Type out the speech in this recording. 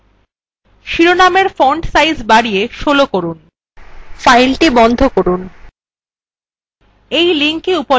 শিরনাম্গুলি underline করুন শিরোনামএর font size বাড়িয়ে ১৬ করুন file বন্ধ করুন